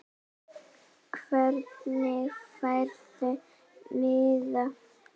Hvernig færðu miða?